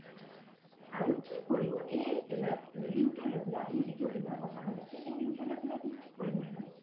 আৰু কি কৰিব এই ৰিন লৈ পেলাই আপোনি যিতো ৰিন ৰ কথা কৈছে এই ৰিনতো লৈ পেলাই আপোনি কি কৰিম বুলি ভাবিছে